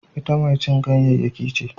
Ita mai cin ganyayyaki ce